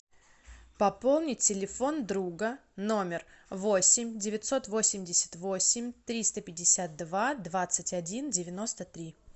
пополнить телефон друга номер восемь девятьсот восемьдесят восемь триста пятьдесят два двадцать один девяносто три